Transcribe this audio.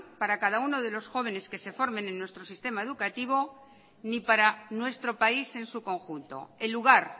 para cada uno de los jóvenes que se formen en nuestro sistema educativo ni para nuestro país en su conjunto el lugar